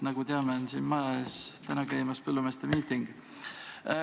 Nagu me teame, käib siin maja ees täna põllumeeste miiting.